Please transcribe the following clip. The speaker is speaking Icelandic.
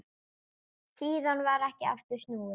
Síðan varð ekki aftur snúið.